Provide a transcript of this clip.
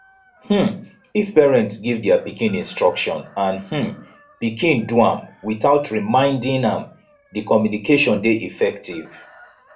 um if parents give their pikin instruction and um pikin do am without reminding am di communication de effective